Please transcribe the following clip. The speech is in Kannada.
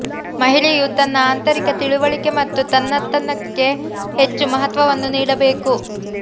ಮಹಿಳೆಯು ತನ್ನ ಆಂತರಿಕ ತಿಳುವಳಿಕೆ ಮತ್ತು ತನ್ನತನಕ್ಕೆ ಹೆಚ್ಚು ಮಹತ್ವವನ್ನು ನೀಡಬೇಕು